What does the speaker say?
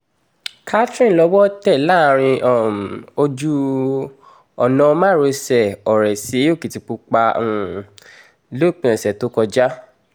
catherine lọ́wọ́ tẹ̀ láàrin um ojú-ọ̀nà márosẹ̀ ọ̀rẹ́ sí ọkìtìpápá um lópin ọ̀sẹ̀ tó kọjá